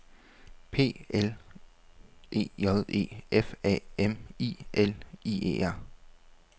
P L E J E F A M I L I E R